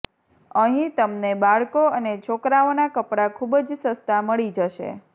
અહીં તમને બાળકો અને છોકરાઓના કપડાં ખૂબ જ સસ્તા મળી જશે